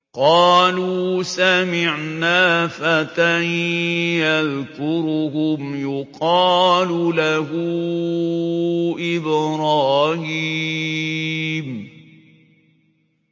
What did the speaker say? قَالُوا سَمِعْنَا فَتًى يَذْكُرُهُمْ يُقَالُ لَهُ إِبْرَاهِيمُ